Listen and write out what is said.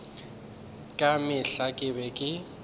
ka mehla ke be ke